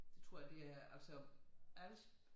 Det tror jeg det er altså Als